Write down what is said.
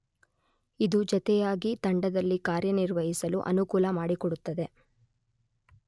ಇದು ಜತೆಯಾಗಿ ತಂಡದಲ್ಲಿ ಕಾರ್ಯನಿರ್ವಹಿಸಲು ಅನುಕೂಲ ಮಾಡಿಕೊಡುತ್ತದೆ.